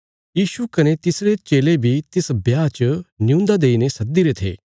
यीशु कने तिसरे चेले बी तिस ब्याह च न्यून्दा देईने सद्दीरे थे